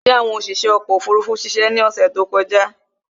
Ṣé àwọn oṣiṣé ọkò òfurufú ṣiṣe ni ọ̀sè tí ó kọjá?